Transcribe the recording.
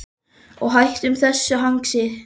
Og hættum þessu hangsi.